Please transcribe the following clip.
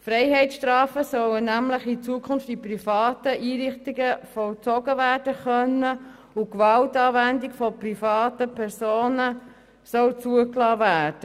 Freiheitsstrafen sollen nämlich in Zukunft in privaten Einrichtungen vollzogen werden können und Gewaltanwendung von privaten Personen soll zugelassen werden.